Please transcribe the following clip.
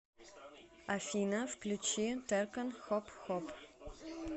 афина включи таркан хоп хоп